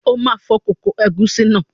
O ma fọ kókó ègúsí náà.